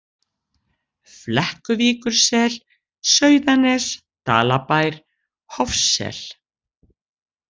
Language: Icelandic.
Flekkuvíkursel, Sauðanes, Dalabær, Hofssel